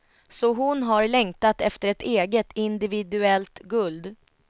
Så hon har längtat efter ett eget, individuellt guld.